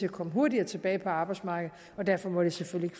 at komme hurtigere tilbage på arbejdsmarkedet og derfor må det selvfølgelig